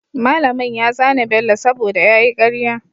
mallamin ya zane bello saboda yayi karya